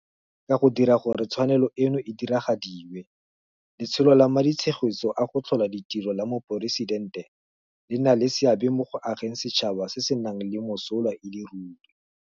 Ka go dira gore tshwanelo eno e diragadiwe, Letsholo la Maditshegetso a go Tlhola Ditiro la Moporesitente le nna le seabe mo go ageng setšhaba se se nang le mosola e le ruri.